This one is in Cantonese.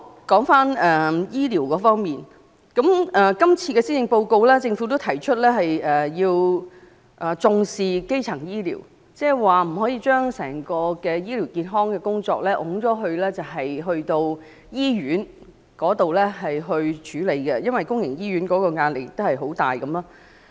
在醫療方面，今次的施政報告中政府也表示要重視基層醫療，不可將整體醫療健康的工作推卸給醫院處理便算了，因為公營醫院的壓力已經很大。